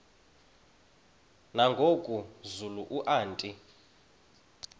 nangoku zulu uauthi